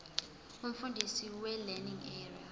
umfundisi welearning area